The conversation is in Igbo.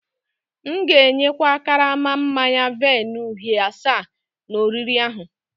M'gēnye kwa karama manya-vine uhie asa n'oriri ahu